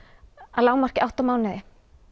að lágmarki átta mánuði